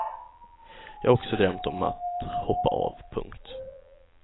Jag har också drömt om att hoppa av. punkt